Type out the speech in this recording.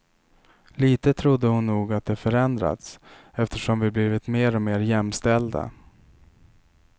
Lite trodde hon nog att det förändrats, eftersom vi blivit mer och mer jämställda.